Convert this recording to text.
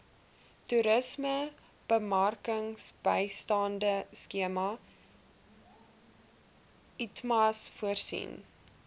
toerismebemarkingsbystandskema itmas voorsien